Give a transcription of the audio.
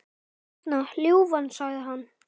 Hérna, ljúfan, sagði hann.